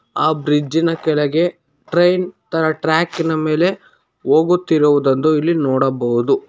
ಆ ಬ್ರಿಜ್ಜಿ ನ ಕೆಳಗೆ ಟ್ರೈನ್ ತರ ಟ್ರಾಕಿ ನ ಮೇಲೆ ಹೋಗುತ್ತಿರುವುದಂದು ಇಲ್ಲಿ ನೋಡಬಹುದು.